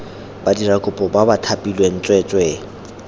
badirakopo ba ba thapilweng tsweetswee